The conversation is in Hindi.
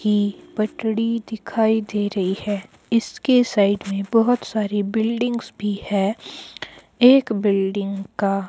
ही पटड़ी दिखाई दे रही है। इसके साइड में बहोत सारी बिल्डिंग्स भी है। एक बिल्डिंग का--